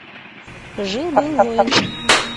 жил был воин